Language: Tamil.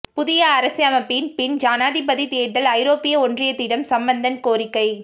புதிய அரசமைப்பின் பின் ஜனாதிபதித் தேர்தல் ஐரோப்பிய ஒன்றியத்திடம் சம்பந்தன் கோரிக்கை